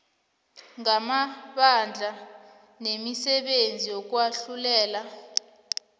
ngamabandla nemisebenzi yokwahlulela